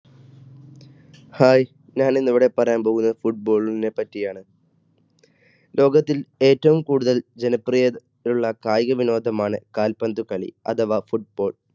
hi ഞാൻ ഇന്ന് ഇവിടെ പറയാൻ പോകുന്നത് football നെ പറ്റിയാണ്. ലോകത്തിൽ ഏറ്റവും കൂടുതൽ ജനപ്രീതി ഉള്ള കായിക വിനോദമാണ് ആണ് കാൽ പന്ത് കളി അഥവാ football.